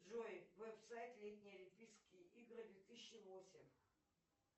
джой веб сайт летние олимпийские игры две тысячи восемь